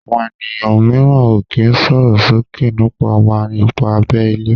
Àwọn ènìyàn míràn o ki sòròsoke nipa wa-ipa abé ilé